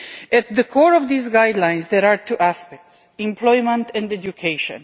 At the core of these guidelines there are two aspects employment and education.